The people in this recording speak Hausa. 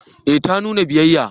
Eh ta nuna biyayya